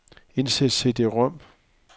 Indsæt cd-rom.